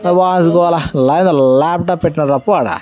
నా పశుగల లాప్టాప్ పెట్టి రాపో అడా.